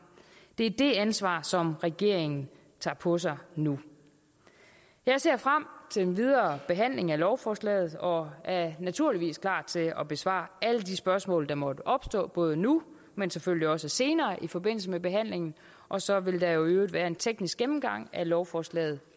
det er det ansvar som regeringen tager på sig nu jeg ser frem til den videre behandling af lovforslaget og er naturligvis klar til at besvare alle de spørgsmål der måtte opstå både nu men selvfølgelig også senere i forbindelse med behandlingen og så vil der i øvrigt være en teknisk gennemgang af lovforslaget